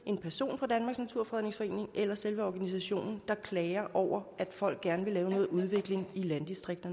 en person fra danmarks naturfredningsforening eller selve organisationen der klager over at folk gerne vil lave noget udvikling i landdistrikterne